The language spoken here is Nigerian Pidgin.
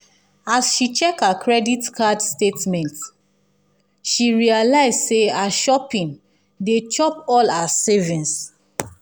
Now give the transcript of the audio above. as she check her credit card statement she realize say her shopping dey chop all her savings.